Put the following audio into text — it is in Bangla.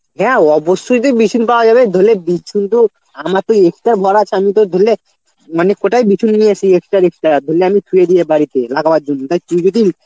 হ্যাঁ অবশ্যই তো বিচুন পাওয়া যাবে ধরে লে বিচুন তো আমার তো extra বারা আছে আমি তোর ধরলে মানে কোটায় বিচুন নিয়ে আসি extra extra র ধরলে আমি থুয়ে দিয়ে বাড়িতে লাগাবার জন্য তা তুই যদি